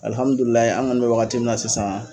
an kɔni bɛ wagati mina sisan